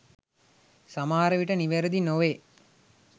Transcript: සමහරවිට නිවැරදි නොවේ.